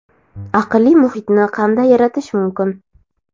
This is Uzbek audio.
aqlli muhitni qanday yaratish mumkin?.